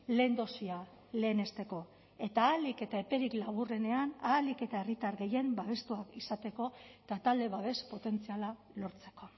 lehen dosia lehenesteko eta ahalik eta eperik laburrenean ahalik eta herritar gehien babestuak izateko eta talde babes potentziala lortzeko